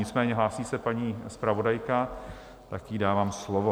Nicméně hlásí se paní zpravodajka, tak jí dávám slovo.